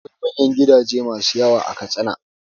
Akwai manyan gidaje masu kyau a Katsina.